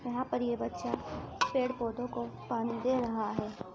यहाँ पर ये बच्चा पेड़ पौधों को पानी दे रहा है।